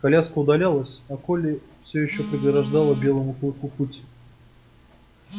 коляска удалялась а колли всё ещё преграждала белому клыку путь